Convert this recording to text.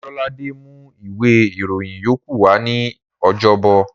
Ọlọ́ládé mú ìwé ìròyìn yókù wa ní ọjọ́bọ̀